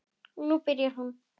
Og nú byrjaði hún.